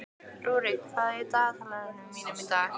Rúrik, hvað er á dagatalinu mínu í dag?